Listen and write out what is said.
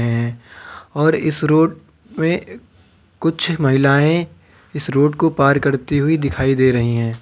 और इस रोड पे कुछ महिलाएं इस को पार करती हुई दिखाई दे रही हैं।